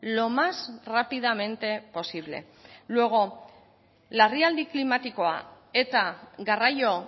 lo más rápidamente posible luego larrialdi klimatikoa eta garraio